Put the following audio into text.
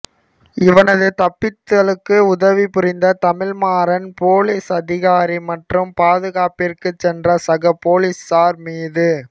இவனது தப்பித்தலுக்கு உதவி புரிந்த தமிழ் மாறன் போலிஸ் அதிகாரி மற்றும் பாதுகாப்பிற்கு சென்ற சக போலீசார் மீது